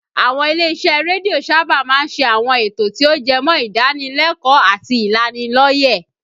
Àwọn ilé-isẹ́ rédíò sábà máa ń ṣe àwọn ètò tí ó jẹmọ́ ìdánilẹ́kọ̀ọ́ àti ìlanilọ́yẹ̀